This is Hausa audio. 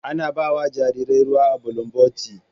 Ana ba wa jarirai ruwa da bulumboti